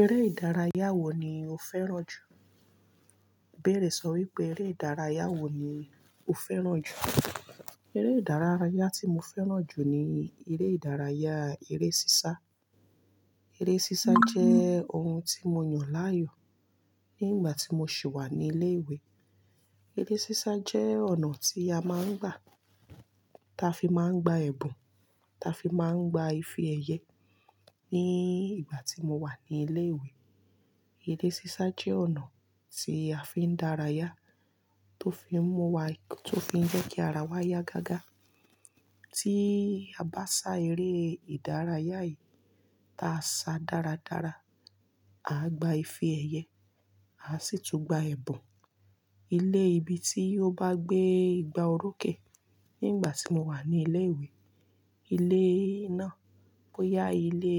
Eré ìdárayá wo ni o fẹ́ràn jù? Ibeẹ̀rẹ̀ sọ wípé "eré ìdárayá wo ni o fẹ́ràn jù?" Eré ìdárayá tí mo fẹ́ràn jù ni eré ìdárayá eré sísá. Eré sísá jẹ́ ohun tí mo yàn láàyò ní ìgbà tí mo sì wà ní ilé ìwé. Eré sísá jẹ́ ọ̀nà tí a máa ń gbà, ta fi máa ń gba ẹ̀bùn, ta fi máa ń gba ìfe èyẹ. Ní ìgbà tí mo wà ní ilé ìwé, eré sísá jẹ́ ọ̀nà tí a fi ń dárayá, tó fi ń mú wa-- tó fi ń jẹ́ kí ara wa yá gágá. Tí a bá sá eré ìdárayá yìí, tá a sá dáradára, a gba ìfe èyẹ, a sì tún gba ẹ̀bùn. Ilé ibi tí ó bá gbé igba orókè nígbà tí mo wà ní ilé ìwé, ilé iná bó yá ilé,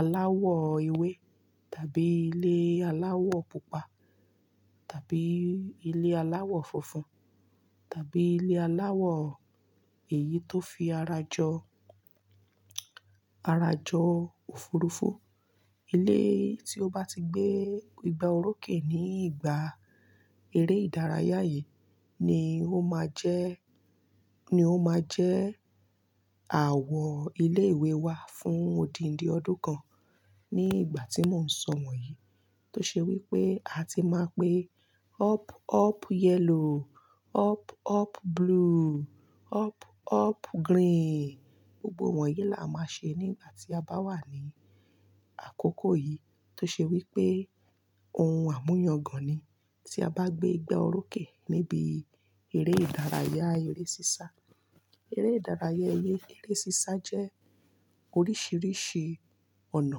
aláwọ̀ ewé tàbí ilé aláwọ̀ pupa tàbí ilé aláwọ̀ funfun tàbí ilé aláwọ̀ èyí tó fi ara jọ, ara jọ òfurufú. Ilé tí ó bá ti gbé igba orókè ní ìgbà eré ìdárayá yìí ni ó máa jẹ́, ni ó máa jẹ́ àwọ̀ ilé ìwé wa fún odindi ọdún kan. Ní ìgbà tí mò ń sọ wọ̀nyí tó ṣe wípé a ti máa ń pe up, up yellow, up, up blue, up, up green. Gbogbo wọ̀nyí là a máa n ṣe ní ìgbà tí a bá wà ní àkókò yìí tó ṣe wípé ohun àmúyàngan ni, tí a bá gbé igba orókè níbi eré ìdárayá eré sísá. Eré ìdárayá eré, eré sísá jẹ́ oríṣiríṣi ọ̀nà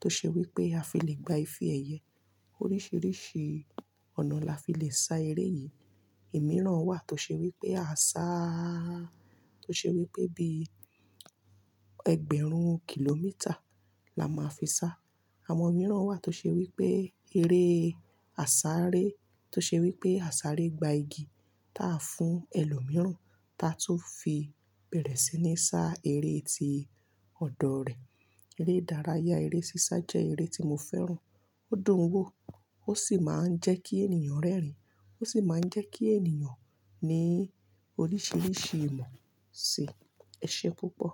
tó ṣe wípé a fi lè gba ìfe èyẹ. Oríṣiríṣi ọ̀nà la fi lè sá eré yìí. Òmíràn wà tó ṣe wípé a sáá, tó ṣe wípé bí ẹgbẹ̀rún kìlómítà la máa fi sá. Àwọn mìíràn wà tó ṣe wípé eré àsáré tó ṣe wípé àsáré gba igi táa fún ẹlòmíràn ta tun fi bẹ̀rẹ̀ sí ní sá eré tí ọ̀dọ̀ rẹ̀. Eré ìdárayá eré sísá jẹ́ eré tí mo fẹ́ràn. Ó dùn ún wò ó sì máa ń jẹ́ kí ènìyàn rẹ́rìn-ín. Ó sì máa ń jẹ́ kí ènìyàn ní oríṣiríṣi ìmọ̀. Ẹṣé púpọ̀?